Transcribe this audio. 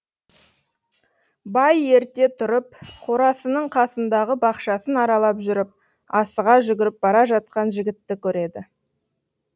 бай ерте тұрып қорасының қасындағы бақшасын аралап жүріп асыға жүгіріп бара жатқан жігітті көреді